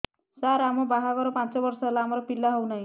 ସାର ଆମ ବାହା ଘର ପାଞ୍ଚ ବର୍ଷ ହେଲା ଆମର ପିଲା ହେଉନାହିଁ